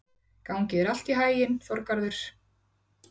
Gangi þér allt í haginn, Þorgarður.